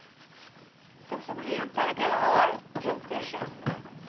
Se a pessoa podia entrar naquela hora, tinham que fechar.